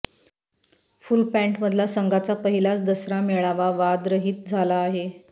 full पँटमधला संघाचा पहिलाच दसरा मेळावा वादरहित झाला आहे